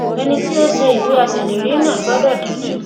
ẹni tí ó ṣe ìwé aṣèlérí náà gbọdọ dájú